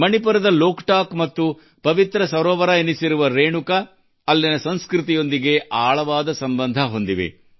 ಮಣಿಪುರದ ಲೋಕಟಾಕ್ ಮತ್ತು ಪವಿತ್ರ ಸರೋವರವೆನಿಸಿರುವ ರೇಣುಕಾ ಅಲ್ಲಿನ ಸಂಸ್ಕೃತಿಯೊಂದಿಗೆ ಆಳವಾದ ಸಂಬಂಧ ಹೊಂದಿವೆ